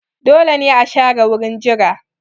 Dole ne a share wurin jira